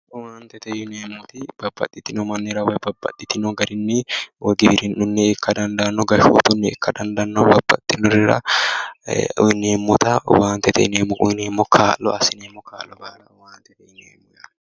Owaantete yineemmoti babbaxitino mannira woyi babbaxitino garinni woyi giwirunniha ikka dandaano gashshootuni ikka dandaano ,babbaxinorira uyineemmotta owaantete yineemmo kaa'lo assineemmo kaa'lo baalla owaantete yineemmo